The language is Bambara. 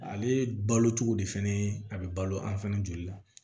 Ale balo cogo de fɛnɛ a be balo an fɛnɛ joli la